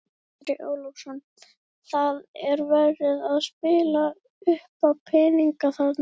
Andri Ólafsson: Það er verið að spila uppá peninga þarna?